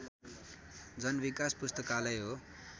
जनविकास पुस्तकालय हो